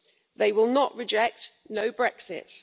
They will not reject no Brexit.